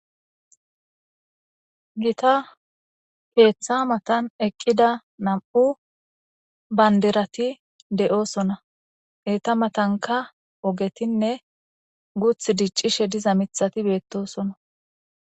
Gita keeththa matan eqqida nam7u bandirati de7osona . Etta matankka oggetinne guuththi diccishe diza miththati beetosona.